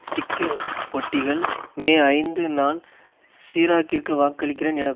sticker ஒட்டிகள் மேஐந்து நான் சிராக்கிற்கு வாக்களிக்கிறேன் என